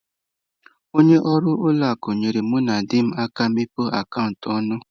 Onye ọrụ ụlọ akụ nyeere mụ na di m aka imepe akaụntụ ọnụ.